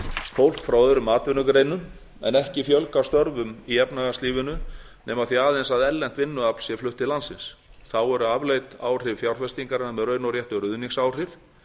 fólk frá öðrum atvinnugreinum en ekki fjölga störfum í efnahagslífinu nema því aðeins að erlent vinnuafl sé flutt til landsins þá eru afleidd áhrif fjárfestingarinnar með raun og réttu ruðningsáhrif